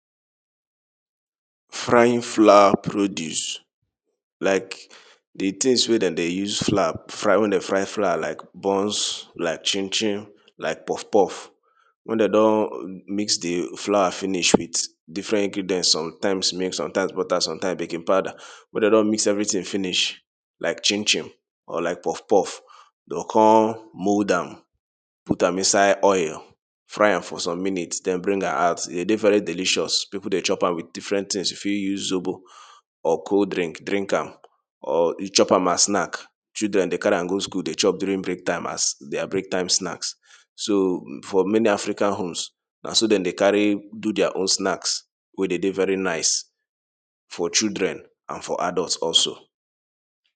Frying flour produce, like di tins wey dem dey use flour fry, wen dem fry flour like bonce, like chin chin, like puff puff. Wen dem don mix di flour finish with different ingredients some time milk, some time butter, some time baking powder. Wen dem don mix everything finish like chin chin or like puff puff, dey go kon mould am put am inside oil, fry am for some minute den bring am out. E dey dey very delicious, pipu dey chop am with different tins, you fit use zobo or cold drink drink am or you chop as snack. Children dey carry am go school dey chop during break time as their break time snack. So for many African homes na so dem dey carry do their own snack wey dey very nice for children and for adults also.